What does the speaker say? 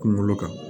Kunkolo kan